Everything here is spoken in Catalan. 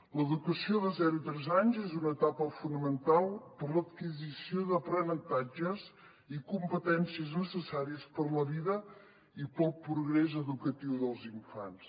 l’educació de zero tres anys és una etapa fonamental per a l’adquisició d’aprenentatges i competències necessaris per a la vida i per al progrés educatiu dels infants